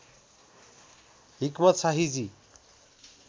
हिक्मत शाहीजी